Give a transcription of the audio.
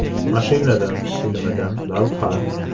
“Mashinadan” filmidan lavha.